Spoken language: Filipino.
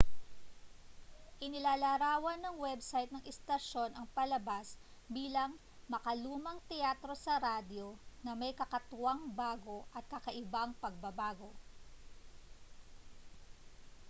inilalarawan ng web site ng istasyon ang palabas bilang makalumang teatro sa radyo na may kakatwang bago at kakaibang pagbabago